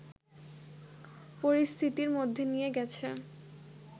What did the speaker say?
পরিস্থিতির মধ্যে নিয়ে গেছে